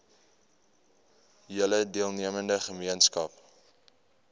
hele deelnemende gemeenskap